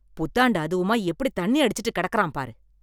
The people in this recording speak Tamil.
புத்தாண்டு அதுவுமா எப்படி தண்ணி அடிச்சிட்டு கெடக்குறான் பாரு